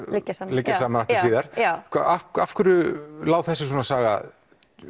liggja saman liggja saman aftur síðar já af af hverju lá þessi saga